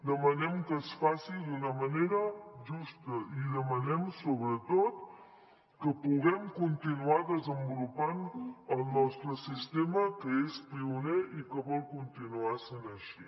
demanem que es faci d’una manera justa i demanem sobretot que puguem continuar desenvolupant el nostre sistema que és pioner i que vol continuar sent així